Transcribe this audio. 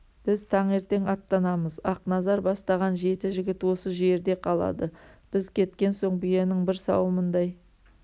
біз таңертең аттанамыз ақназар бастаған жеті жігіт осы жерде қалады біз кеткен соң биенің бір сауымындай